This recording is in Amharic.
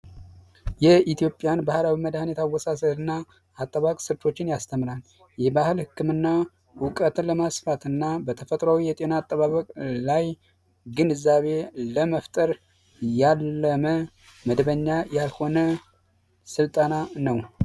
የኢትዮጵያን ባህላዊ መድሐኒት አወሳሰድና አጠባበቅ ስልቶችን ያስተምራል የባህል መዳኒት አጠባበቅ በተፈጥሮ የጤና አጠባበቅ የባህል ህክምና እውቀትን ለማስፋትና ግንዛቤ ለመፍጠር ያለመ መደበኛ ያልሆነ ስልጠና ነው።